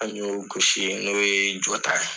An y'olu gosi n'o ye jo ta ye.